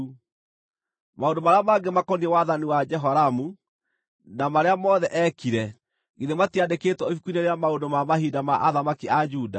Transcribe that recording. Maũndũ marĩa mangĩ makoniĩ wathani wa Jehoramu, na marĩa mothe eekire, githĩ matiandĩkĩtwo ibuku-inĩ rĩa maũndũ ma mahinda ma athamaki a Juda?